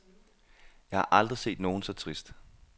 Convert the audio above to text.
Jeg har aldrig set nogen så trist.